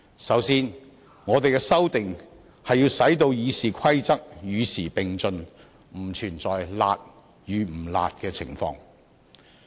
首先，我們的修訂是要使《議事規則》與時並進，不存在"辣"與"不辣"的情況。